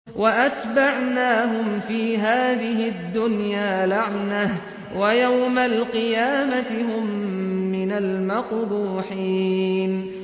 وَأَتْبَعْنَاهُمْ فِي هَٰذِهِ الدُّنْيَا لَعْنَةً ۖ وَيَوْمَ الْقِيَامَةِ هُم مِّنَ الْمَقْبُوحِينَ